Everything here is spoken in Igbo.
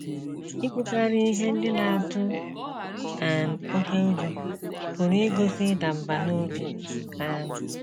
Ikwukarị ihe ndị na - atụ um oké ụjọ pụrụ igosi ịda mbà n’obi. um